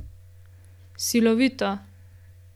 Silovito.